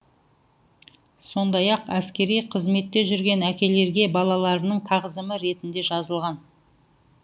сондай ақ әскери қызметте жүрген әкелерге балаларының тағзымы ретінде жазылған